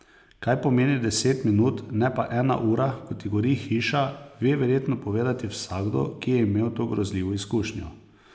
Kaj pomeni deset minut, ne pa ena ura, kot ti gori hiša, ve verjetno povedati vsakdo, ki je imel to grozljivo izkušnjo.